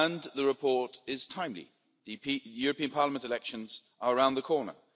The report is timely. The European Parliament elections are around the corner.